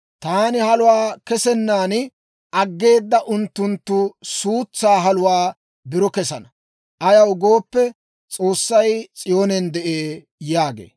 Taani haluwaa c'gettennaan aggeedda unttunttu suutsaa haluwaa biro kessana; ayaw gooppe, S'oossay S'iyoonen de'ee» yaagee.